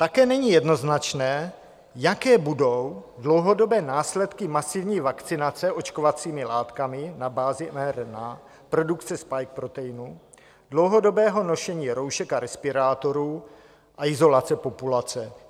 Také není jednoznačné, jaké budou dlouhodobé následky masivní vakcinace očkovacími látkami na bázi mRNA, produkce spike proteinu, dlouhodobého nošení roušek a respirátorů a izolace populace.